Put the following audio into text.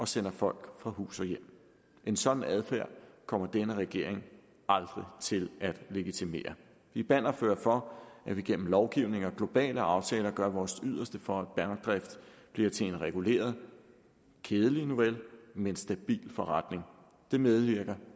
sender folk fra hus og hjem en sådan adfærd kommer denne regering aldrig til at legitimere vi er bannerfører for at vi igennem lovgivning og globale aftaler gør vores yderste for at bankdrift bliver til en reguleret kedelig nuvel men stabil forretning det medvirker